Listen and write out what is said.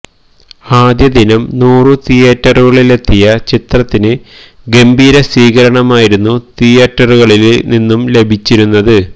ആദ്യ ദിനം നൂറു തിയ്യേറ്ററുകളിലെത്തിയ ചിത്രത്തിന് ഗംഭീര സ്വീകരണമായിരുന്നു തിയ്യേറ്ററുകളില് നിന്നും ലഭിച്ചിരുന്നത്